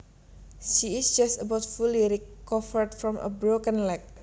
She is just about fully recovered from a broken leg